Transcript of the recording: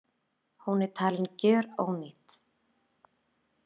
Hún er talin gjörónýt